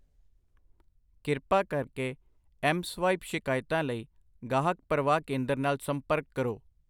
ਕਿਰਪਾ ਕਰਕੇ ਐਮਸਵਾਇਪ ਸ਼ਿਕਾਇਤਾਂ ਲਈ ਗਾਹਕ ਪਰਵਾਹ ਕੇਂਦਰ ਨਾਲ ਸੰਪਰਕ ਕਰੋ।